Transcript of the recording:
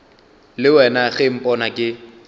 le wena ge mpona ke